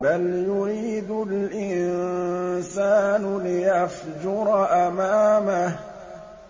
بَلْ يُرِيدُ الْإِنسَانُ لِيَفْجُرَ أَمَامَهُ